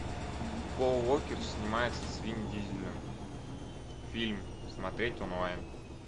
пол уокер снимается с вин дизелем фильм смотреть онлайн